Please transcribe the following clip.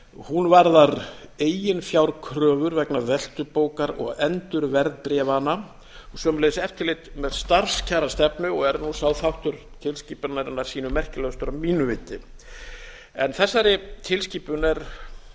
hún varðar eiginfjárkröfur vegna veltubókar og endurverðbréfana og sömuleiðis eftirlit með starfskjarastefnu og er nú sá þáttur tilskipunarinnar sýnu merkilegastur að mínu viti þessari tilskipun er